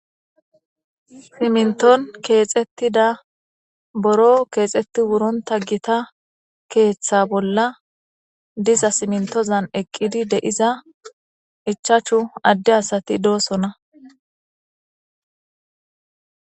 Siminiton kexetida buro kexeti wurota gita ketha bolla diza simintoza eqidi diza ichachu ade asati de'osona